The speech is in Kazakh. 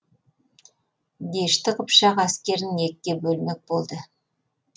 дешті қыпшақ әскерін екіге бөлмек болды